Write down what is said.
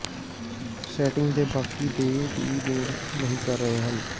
setting ਦੇ ਬਾਕੀ ਦੇ ਦੀ ਲੋੜ ਨਹੀ ਕਰ ਰਹੇ ਹਨ